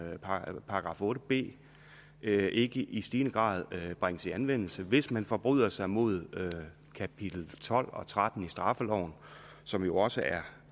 § otte b ikke i stigende grad bringes i anvendelse hvis man forbryder sig mod kapitel tolv og tretten i straffeloven som jo også er